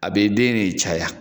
A bɛ den de caya.